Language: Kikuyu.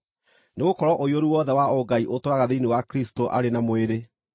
Nĩgũkorwo ũiyũru wothe wa Ũngai ũtũũraga thĩinĩ wa Kristũ arĩ na mwĩrĩ,